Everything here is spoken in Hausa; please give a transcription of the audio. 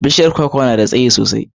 Bishiyar kwakwa nada tsayi sosai